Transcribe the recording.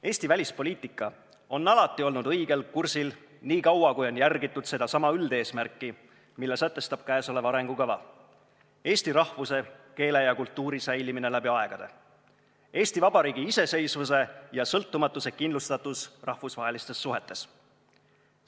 Eesti välispoliitika on alati olnud õigel kursil, nii kaua kui on järgitud sedasama üldeesmärki, mille sätestab käesolev arengukava: eesti rahvuse, keele ja kultuuri säilimine läbi aegade, Eesti Vabariigi iseseisvuse ja sõltumatuse kindlustatus rahvusvahelistes suhetes.